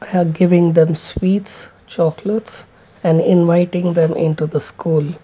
are giving them sweet inviting them into the school.